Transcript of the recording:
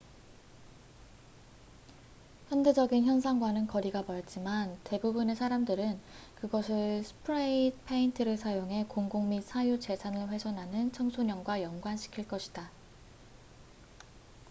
현대적인 현상과는 거리가 멀지만 대부분의 사람들은 그것을 스프레이 페인트를 사용해 공공 및 사유재산을 훼손하는 청소년과 연관시킬 것이다